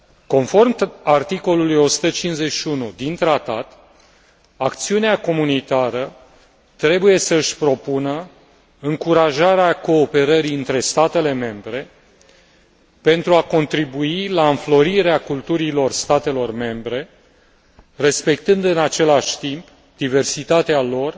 Conform articolului 151 din tratat, acțiunea comunitară trebuie să își propună încurajarea cooperării între statele membre pentru a contribui la înflorirea culturilor statelor membre, respectând în același timp diversitatea lor